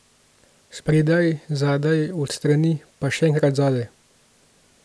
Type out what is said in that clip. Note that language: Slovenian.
Spredaj, zadaj, od strani, pa še enkrat zadaj.